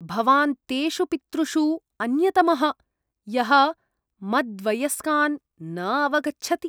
भवान् तेषु पितृषु अन्यतमः, यः मद्वयस्कान् न अवगच्छति।